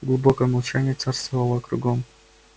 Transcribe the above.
глубокое молчание царствовало кругом